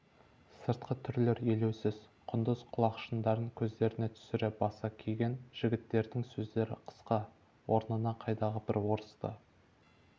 сыртқы түрлер елеусіз құндыз құлақшындарын көздеріне түсіре баса киген жігіттердің сөздер қысқа орнына қайдағы бір орысты